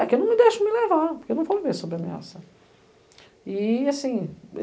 É que eu não me deixo me levar, porque eu não vou viver sobre ameaça. E assim,